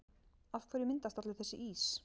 Af hverju myndast allur þessi ís?